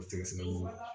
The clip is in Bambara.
O sɛgɛsɛgɛliw la